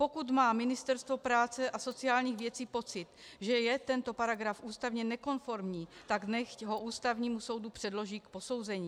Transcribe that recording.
Pokud má Ministerstvo práce a sociálních věcí pocit, že je tento paragraf ústavně nekonformní, tak nechť ho Ústavnímu soudu předloží k posouzení.